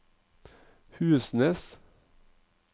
Husnes